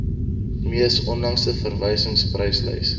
mees onlangse verwysingspryslys